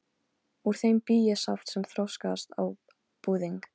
Úr þeim bý ég saft sem þroskast út á búðing.